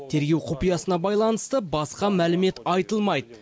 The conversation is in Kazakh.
тергеу құпиясына байланысты басқа мәлімет айтылмайды